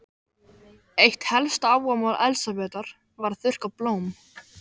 Eitt helsta áhugamál Elsabetar var að þurrka blóm.